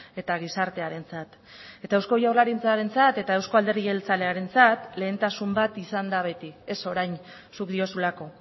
eta gizartearentzat eta eusko jaurlaritzarentzat eta euzko alderdi jeltzalearentzat lehentasun bat izan da beti ez orain zuk diozulako